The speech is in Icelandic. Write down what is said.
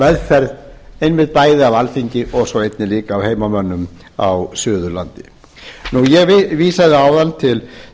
meðferð einmitt bæði á alþingi og svo einnig líka af heimamönnum á suðurlandi ég vísaði áðan til